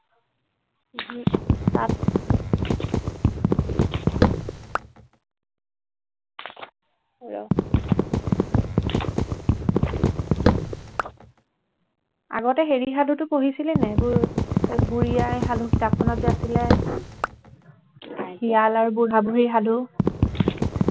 আগতে হেৰি সাধুটো পঢ়িছিলি নাই এইবোৰ বুঢ়ী আই সাধু কিতাপখনতযে আছিলে শিয়াল আৰু বুঢ়া বুঢ়ীৰ সাধু